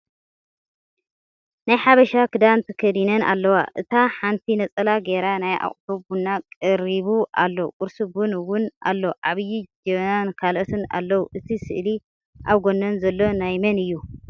ናይ ሓበሻ ክዳን ተከዲነን ኣለዋ እታ ሓንቲ ነፀላ ጌራ ናይ ኣቁሑ ቡን ቀሪቡ ኣሎ ቁርሲ ቡን እውን ኣሎ ዓብይ ጀበና ን ካልኦትን ኣለዉ እቲ ስእሊ ኣብ ጎነን ዘሎ ናይ መን እዩ?